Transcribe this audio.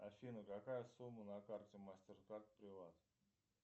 афина какая сумма на карте мастер кард приват